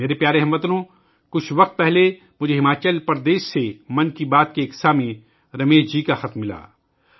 میرے پیارے ہم وطنو، کچھ وقت پہلے، مجھے ہماچل پردیش سے 'من کی بات' کے سننے والے رمیش جی کا خط ملا